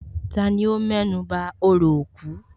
Tani ó mẹ́nuba orò òkú?